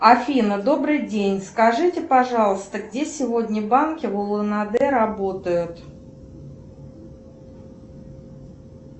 афина добрый день скажите пожалуйста где сегодня банки в улан уде работают